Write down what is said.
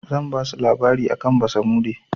Zan basu labari akan basamude.